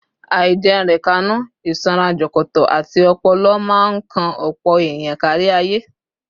Àìjẹunrekánú, ìsanra jọ̀kọ̀tọ̀, àti ọpọlọ máa ń kan ọ̀pọ̀ èèyàn kárí ayé